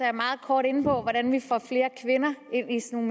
er meget kort inde på hvordan vi får flere kvinder ind i sådan